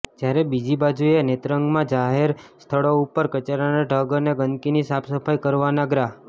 જયારે બીજી બાજુએ નેત્રંગમાં જાહેર સ્થળો ઉપર કચરાના ઢગ અને ગંદીકની સાફસફાઇ કરવના ગ્રા